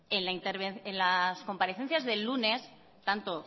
en las comparecencias del lunes tanto